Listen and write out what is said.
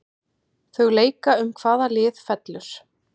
Þau leika um hvaða lið fellur.